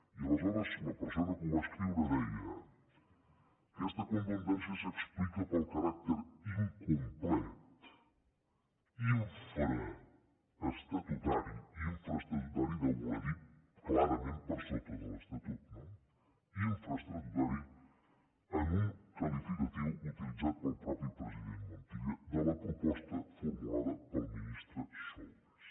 i aleshores la persona que ho va escriure deia aquesta contundència s’explica pel caràcter incomplet infraestatutari infraestatutari deu voler dir clarament per sota de l’estatut no en un qualificatiu utilitzat pel mateix president montilla de la proposta formulada pel ministre solbes